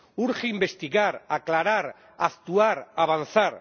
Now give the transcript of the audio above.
Urge investigar, aclarar, actuar, avanzar...